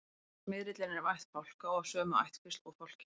smyrillinn er af ætt fálka og af sömu ættkvísl og fálkinn